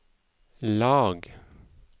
lag